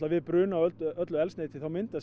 við bruna á öllu eldsneyti myndast